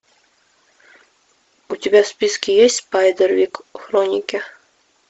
у тебя в списке есть спайдервик хроники